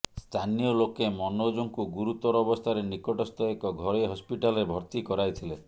ସ୍ଥାନୀୟ ଲୋକେ ମନୋଜଙ୍କୁ ଗୁରୁତର ଅବସ୍ଥାରେ ନିକଟସ୍ଥ ଏକ ଘରୋଇ ହସ୍ପିଟାଲରେ ଭର୍ତ୍ତି କରାଇଥିଲେ